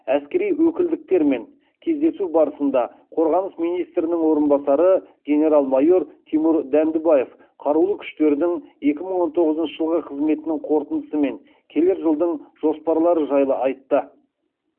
әскери өкілдіктермен кездесу барысында қорғаныс министрінің орынбасары генерал майор тимур дәндібаев қарулы күштердің екі мың он тоғызыншы жылғы қызметінің қорытындысы мен келер жылдың жоспарлары жайлы айтты